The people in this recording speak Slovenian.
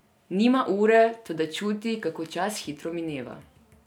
Nima ure, toda čuti, kako čas hitro mineva.